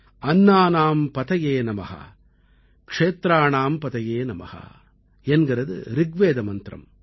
அன்னானாம் பதயே நம க்ஷேத்ராணாம் பதயே நம என்கிறது ரிக்வேத மந்திரம்